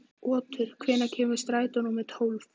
Otur, hvenær kemur strætó númer tólf?